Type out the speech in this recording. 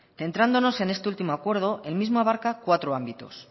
entrándonos en este último acuerdo el mismo abarca cuatro ámbitos